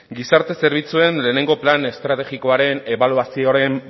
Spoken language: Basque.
gizarte zerbitzuen batgarren plan estrategikoaren ebaluazioren